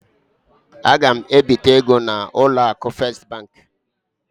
A ga m ebite ego n'ụlọ akụ Fes bank.